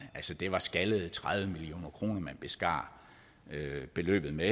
altså det var skaldede tredive million kroner man beskar beløbet med